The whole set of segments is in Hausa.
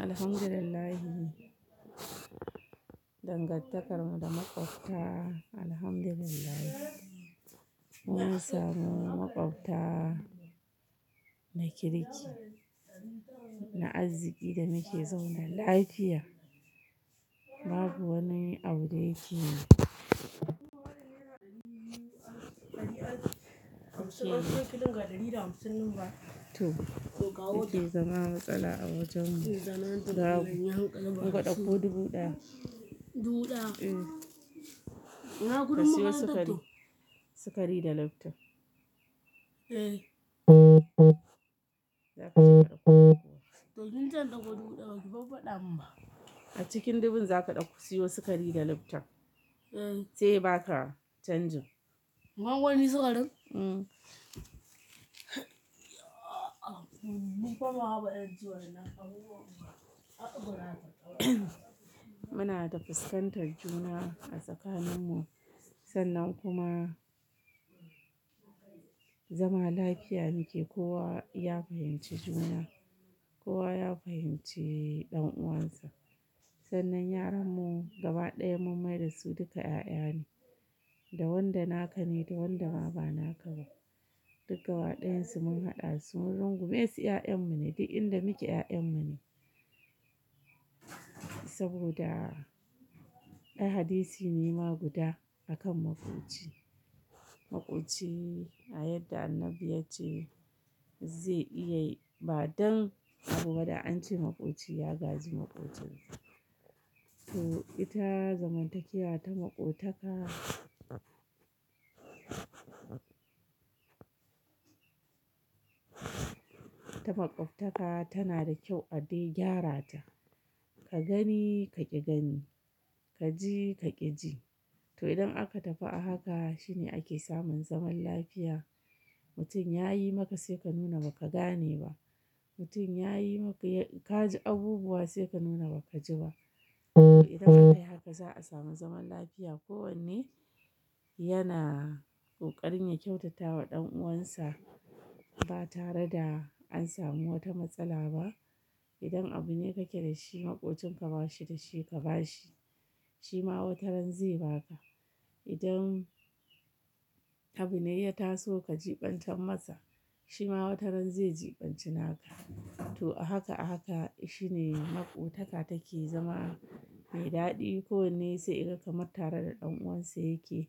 Alhamdulillah, dangantakarmu da makwabta, Alhamdulillah. Mun samu makwabta na kirki, na arziki da muke zaune lafiya. Babu wani abu da yake to, yake zama matsala a wajenmu. Babu ungo ɗauko dubu ɗaya. Dubu ɗaya? Eh. Ka siyo sukari, sukari da leftan. Eh. Za ka ci maɗaukaki. To ni zan ɗauko dubu ɗaya, baki ba ɗamin ba. A cikin dubun za ka ɗauka, ka siyo sukari da leftan. Eh. Sai ba ka canjin. Gwangwani sukarin? Uhm. Muna da fuskantar juna a tsakaninmu, sannan kuma zama lafiya muke. Kowa ya fahimci juna, kowa ya fahimci ɗan uwansa. Sannan yaranmu gaba ɗaya mun maida su duka ƴaƴa ne, da wanda na kane da wanda ma ba na kaba. Duk gaba ɗayansu mun haɗa su mun rungume su ƴaƴanmu ne, duk inda muke ƴaƴanmu ne. Saboda ai hadisi ne ma guda a kan maƙoci. Maƙoci a yadda Annabi yace zai iya yi, ba don abubuwa da an ce maƙoci ya gazi maƙocinsa. To ita zamantakewa ta maƙotaka, ta makwabta ka tana da kyau a dai gyara ta. Ka gani ka ƙi gani, ka ji ka ƙi ji. To idan aka tafi a haka shine ake samun zaman lafiya. Mutum ya yi maka sai ka nuna ba ka gane ba. Mutum ya yi maka ka ji abubuwa sai ka nuna ba ka ji ba. Idan aka dai haka za a samu zaman lafiya. Kowanne yana kokarin ya kyautata wa ɗan uwansa ba tare da an samu wata matsala ba. Idan abu ne kake da shi maƙocin ka ba shi da shi ka ba shi, shi ma wataran zai ba ka. Idan abu ne ya taso ka jibantar masa, shi ma wataran zai jibanci naka. To a haka a haka shine maƙotaka take zama mai daɗi. Kowanne sai yaga kamar tare da ɗan uwansa yake,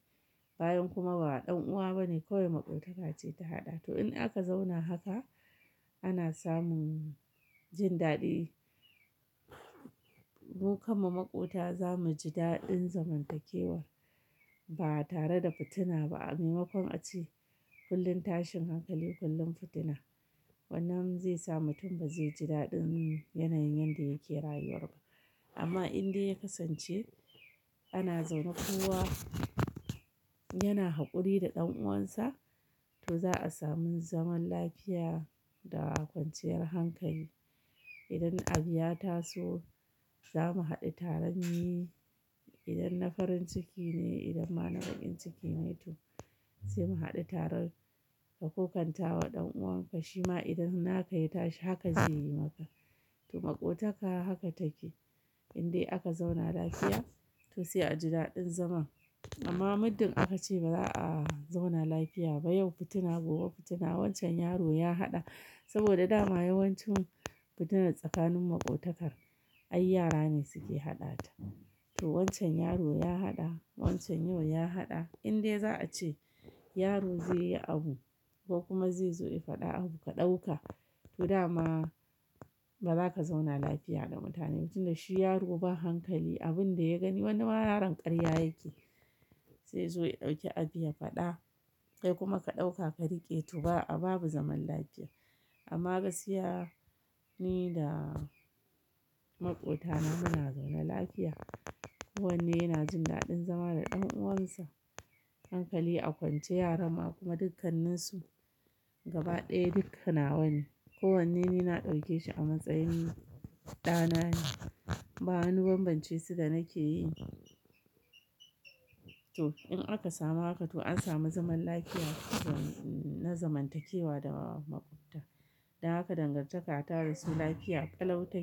bayan kuma ba ɗan uwa ba ne kawai maƙwitaka ce ta haɗa. To in aka zauna haka ana samun jin daɗi. Mu kan mu makwuta za mu ji daɗin zamantakewar ba tare da fitina ba. A maimakon a ce kullum tashin hankali, kullum fitina. Wannan zai sa mutum ba zai ji daɗin yanayin yanda yake rayuwar ba. Amma in dai ya kasance ana zaune kowa yana haƙuri da ɗan uwansa, to za a samu zaman lafiya da kwanciyar hankali. Idan abu ya taso za mu haɗu tare mu yi. Idan na farin ciki ne, idan ma na bakin ciki mai tu, sai mu haɗu taron ka kokanta wa ɗan uwan ka, shi ma idan naka ya tashi haka zai yi maka. To maƙotaka haka take. In dai aka zauna lafiya to sai a ji daɗin zaman. Amma muddin aka ce ba za a zauna lafiya ba, yau fitina gobe fitina. Wancan yaro ya haɗa saboda dama yawancin fitina tsakanin maƙotakar ai yara ne suke haɗata. To wancan yaro ya haɗa, wancan yau ya haɗa. In dai za a ce yaro zai yi abu ko kuma zai zo ya faɗa abu ka ɗauka, to dama ba za ka zauna lafiya da mutane ba. Tun da shi yaro ba hankali, abun da ya gani wani ma yaron ƙarya yake, sai zuwa ya ɗauki abu ya faɗa. Kai kuma ka ɗauka ka riƙe to ba a babu zaman lafiya. Amma gaskiya ni da makwutana muna zaune lafiya. Kowanne yana jin daɗin zama da ɗan uwansa. Hankali a kwance yaran mu kuma dukkanninsu gaba ɗaya dukkanawa ne. Kowanne ni na ɗauke shi a matsayin ɗana ne. Ba anuban bance su da nake yi. To in aka samu haka to an samu zaman lafiya na zamantakewa da makwuta. Da haka dangantaka ta dasu lafiya ƙalauta.